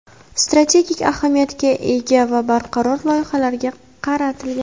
strategik ahamiyatga ega va barqaror loyihalarga qaratilgan.